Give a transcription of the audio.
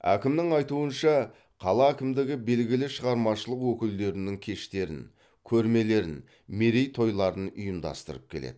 әкімнің айтуынша қала әкімдігі белгілі шығармашылық өкілдерінің кештерін көрмелерін мерейтойларын ұйымдастырып келеді